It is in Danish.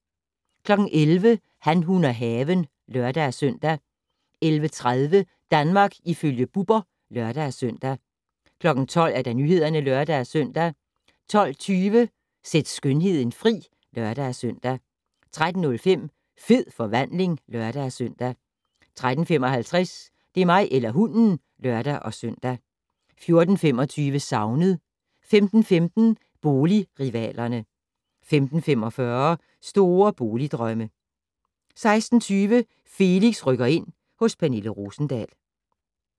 11:00: Han, hun og haven (lør-søn) 11:30: Danmark ifølge Bubber (lør-søn) 12:00: Nyhederne (lør-søn) 12:20: Sæt skønheden fri (lør-søn) 13:05: Fed forvandling (lør-søn) 13:55: Det er mig eller hunden (lør-søn) 14:25: Savnet 15:15: Boligrivalerne 15:45: Store boligdrømme 16:20: Felix rykker ind - hos Pernille Rosendahl